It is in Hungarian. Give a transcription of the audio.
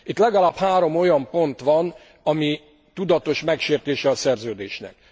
Itt legalább három olyan pont van, ami tudatos megsértése a szerződésnek.